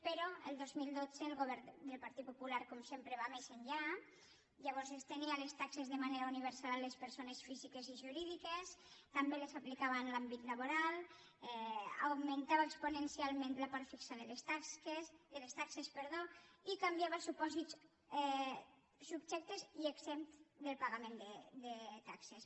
però el dos mil dotze el govern del partit popular com sempre va més enllà llavors estenia les taxes de manera universal a les persones físiques i jurídiques també les aplicava en l’àmbit laboral augmentava exponencialment la part fixa de les taxes i canviava supòsits subjectes i exempts del pagament de taxes